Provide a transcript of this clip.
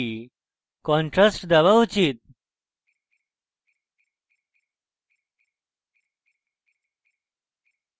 সমুদ্রকে একটু বেশী contrast দেওয়া উচিত